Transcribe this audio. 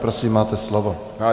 Prosím, máte slovo.